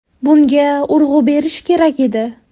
Bunga urg‘u berish kerak edi.